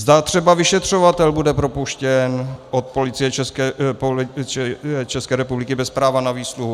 Zda třeba vyšetřovatel bude propuštěn od Policie České republiky bez práva na výsluhu?